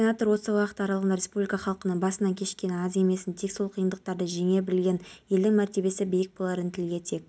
синоптиктер қазақстанда маусымның күні болатын ауа райын болжады атмосфералық фронттардың өтуіне байланысты республиканың басым бөлігінде тұрақсыз